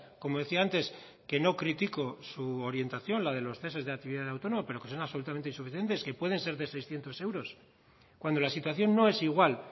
como decía antes que no critico su orientación la de los ceses de actividad autónoma pero que son absolutamente insuficientes que pueden ser de seiscientos euros cuando la situación no es igual